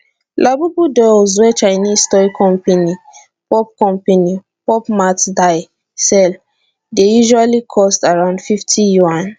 labubu dolls wey chinese toy company pop company pop mart dye sell dey usually cost around fifty yuan